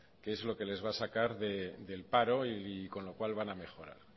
que es lo que les va a sacar del paro y con lo cual van a mejorar